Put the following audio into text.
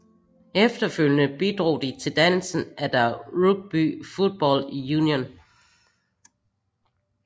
Efterfølgende bidrog de til dannelsen af the Rugby Football Union